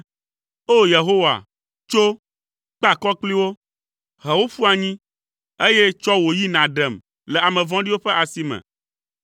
O! Yehowa, tso, kpe akɔ kpli wo, he wo ƒu anyi, eye tsɔ wò yi nàɖem le ame vɔ̃ɖiwo ƒe asi me.